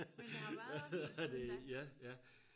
men det har været siden da